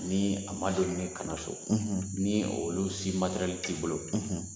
Ni a ma doni ka na so, ni olu si t'i bolo